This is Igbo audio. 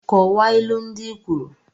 Kọwaa ilu ndị i kwuru!